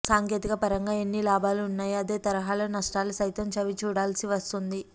సాంకేతికపరంగా ఎన్ని లాభాలు ఉన్నాయో అదేతరహాలో నష్టాలు సైతం చవిచూడాల్సి వస్తోంది